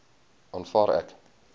aanvaar ek